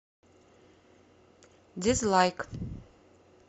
дизлайк